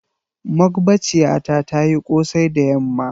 mogbaciyata tayi Kosai da yamma.